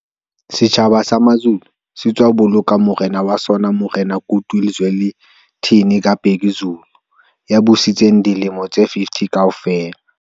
Setjhaba sa Mazulu se sa tswa boloka morena wa sona Morena Goodwill Zwelithini ka Bhekuzulu ya busitseng dilemo tse 50 kaofela.